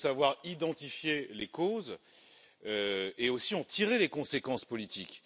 Il faut savoir identifier les causes et aussi en tirer les conséquences politiques.